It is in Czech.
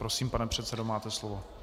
Prosím, pane předsedo, máte slovo.